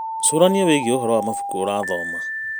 Cũrania wĩgiĩ ũhoro wa mabuku ũramathoma.